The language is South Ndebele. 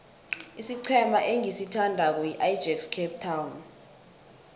isiqhema engisithandako yiajax cape town